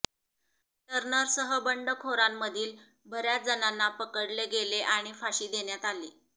टर्नरसह बंडखोरांमधील बऱ्याच जणांना पकडले गेले आणि फाशी देण्यात आली